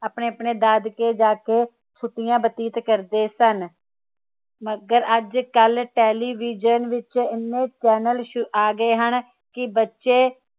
ਆਪਣੇ ਆਪਣੇ ਦਾਦਕੇ ਜਾਕੇ ਛੁਟਿਆ ਬਤੀਤ ਕਰਦੇ ਸਨ ਮਗਰ ਅੱਜਕਲ television ਵਿਚ ਇੰਨੇ channel ਆ ਗਏ ਹਨ ਕਿ ਬੱਚੇ